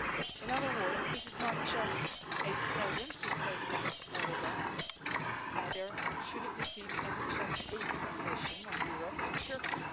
In other words this is not just a present for President Erdoğan, neither should it be seen as just a concession by Europe to Turkey.